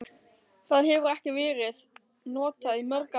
Það hefur ekki ver- ið notað í mörg ár.